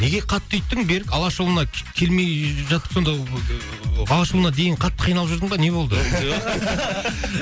неге қатты үйттің берік алашұлына келмей жатып сонда ыыы алашұлына дейін қатты қиналып жүрдің ба не болды